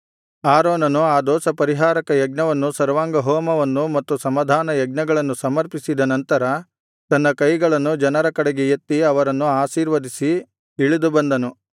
ಆರೋನನು ಆ ದೋಷಪರಿಹಾರಕ ಯಜ್ಞವನ್ನು ಸರ್ವಾಂಗಹೋಮವನ್ನು ಮತ್ತು ಸಮಾಧಾನಯಜ್ಞಗಳನ್ನು ಸಮರ್ಪಿಸಿದ ನಂತರ ತನ್ನ ಕೈಗಳನ್ನು ಜನರ ಕಡೆಗೆ ಎತ್ತಿ ಅವರನ್ನು ಆಶೀರ್ವದಿಸಿ ಇಳಿದು ಬಂದನು